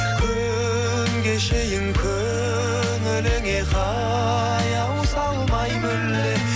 күн кешейін көңіліңе қаяу салмай мүлде